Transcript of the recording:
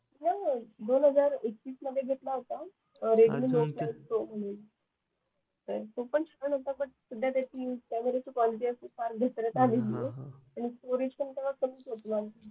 दोन हजार एकवीस मध्ये घेतला होता तो पण छान होता बट सध्या त्याची युस क्वालिटी असते फार घसरत आलेली आहे आणि